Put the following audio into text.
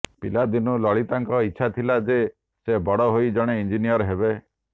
ପିଲାଦିନୁ ଲଳିତାଙ୍କର ଇଚ୍ଛା ଥିଲା ଯେ ସେ ବଡ଼ ହେଲ ଜଣେ ଇଂଜିନିୟର ହେବେ